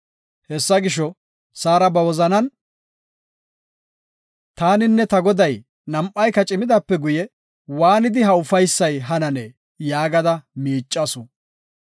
Hessa gisho, Saara ba wozanan, “Taaninne ta goday nam7ayka cimidaape guye waanidi ha ufaysay hananee?” yaagada miicasu.